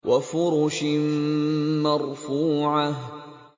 وَفُرُشٍ مَّرْفُوعَةٍ